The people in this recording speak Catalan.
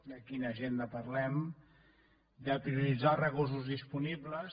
de quina agenda parlem de prioritzar els recursos disponibles